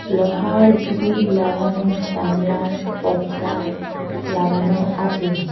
লোহার গ্রীল লাগানো জানলার পর্দা লাগানো আছে।